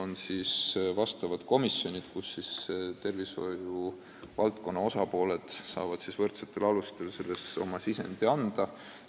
On ette nähtud komisjonid, kuhu tervishoiuvaldkonna osapooled saavad võrdsetel alustel oma sisendit anda.